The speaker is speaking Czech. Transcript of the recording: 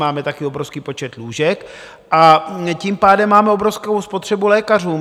Máme taky obrovský počet lůžek, a tím pádem máme obrovskou spotřebu lékařů.